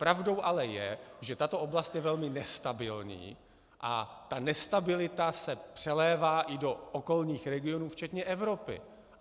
Pravdou ale je, že tato oblast je velmi nestabilní, a ta nestabilita se přelévá i do okolních regionů, včetně Evropy.